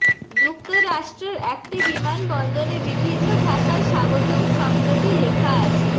যুক্তরাষ্ট্রের একটি বিমানবন্দরে বিভিন্ন ভাষায় স্বাগতম শব্দটি লেখা আছে